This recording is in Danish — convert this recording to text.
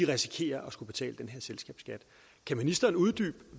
risikerer at skulle betale den her selskabsskat kan ministeren uddybe